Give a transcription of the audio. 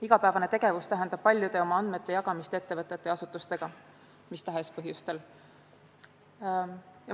Igapäevane tegevus tähendab paljude oma andmete jagamist ettevõtete ja asutustega mis tahes põhjustel.